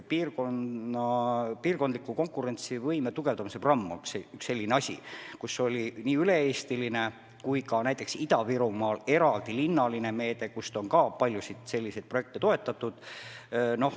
Piirkondliku konkurentsivõime tugevdamise programmis oli ette nähtud nii üle-eestiline kui ka näiteks Ida-Virumaal eraldi linnaline meede, millega on ka paljusid selliseid projekte toetatud.